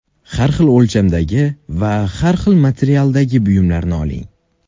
Har xil o‘lchamdagi va har xil materialdagi buyumlarni oling.